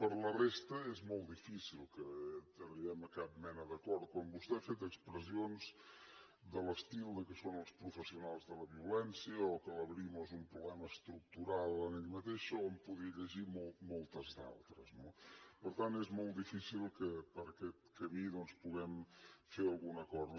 per la resta és molt difícil que arribem a cap mena d’acord quan vostè ha fet expressions de l’estil que són els professionals de la violència o que la brimo és un problema estructural en ella mateixa o en podria llegir moltes d’altres no per tant és molt difícil que per aquest camí doncs puguem fer algun acord